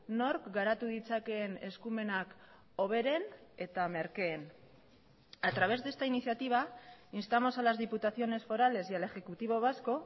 nork garatu ditzakeen eskumenak hoberen eta merkeen a través de esta iniciativa instamos a las diputaciones forales y al ejecutivo vasco